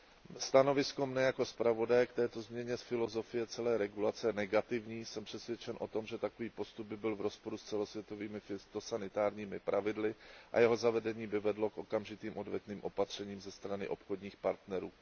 Mé stanovisko jako zpravodaje k této změně filozofie celé regulace je negativní, jsem přesvědčen o tom, že takový postup by byl v rozporu s celosvětovými fytosanitárními pravidly a jeho zavedení by vedlo k okamžitým odvetným opatřením ze strany obchodních partnerů.